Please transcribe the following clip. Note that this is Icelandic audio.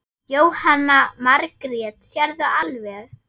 Jóhanna Margrét: Sérðu alveg?